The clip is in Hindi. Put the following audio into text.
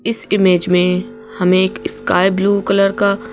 इस इमेज में हमें एक स्काई ब्लू कलर का--